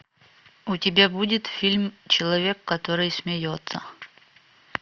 у тебя будет фильм человек который смеется